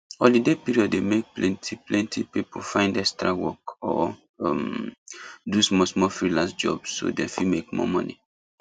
holiday period dey make plenty plenty people find extra work or um do smallsmall freelance job so dem fit make more money